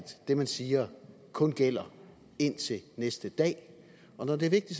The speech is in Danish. det man siger kun gælder indtil næste dag når det